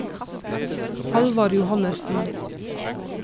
Halvard Johannesen